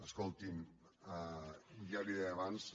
escolti’m ja li ho deia abans